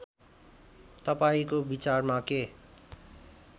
तपाईँको विचारमा के